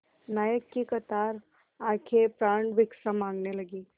नायक की कातर आँखें प्राणभिक्षा माँगने लगीं